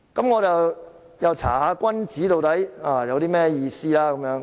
我因而又翻查"君子"的意思。